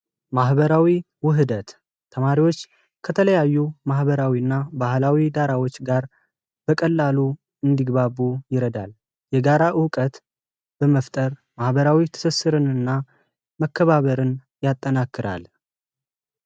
ማህበራዊ ዉህደት ተማሪወች ከተለያዩ ማህበራዊ እና ባህላዊ ዳራወች ጋር በቀላሉ እንዲግባቡ ይረዳል ። የጋራ እዉቀት በመስጠት ማህበራዊ ትስስርን እና መከባበርን ያጠናክራል።